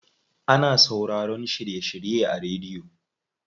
Ana sauraroyin shiry shirye a rediyo.